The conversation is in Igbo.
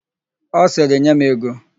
Ọ sịrị, "nye m ego"!